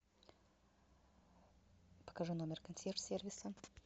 покажи номер консьерж сервиса